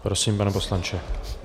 Prosím, pane poslanče.